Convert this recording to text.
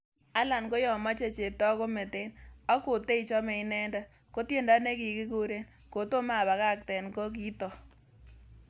Alan koyomoche cheptoo kometen, ak koteichome inendet, kotiendo nekikuren 'Kotomo abagakten'ko kitook.